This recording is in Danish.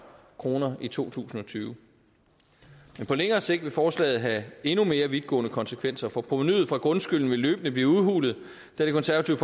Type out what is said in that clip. kroner i to tusind og tyve men på længere sigt vil forslaget have endnu mere vidtgående konsekvenser for provenuet fra grundskylden vil løbende blive udhulet da det konservative